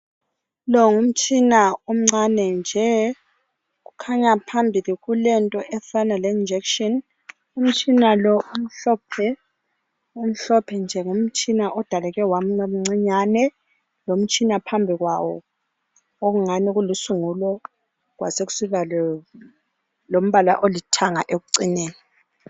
Lo ngumtshina omncane nje. Kukhanya phambili kulento efana le-injection. Umtshina lo umhlophe. Umhlophe nje, ngumtshina odaleke wabamncinyane. Lomtshina phambikwawo okungani kulusungulo. Kwasekusiba lombala olithanga ekucineni.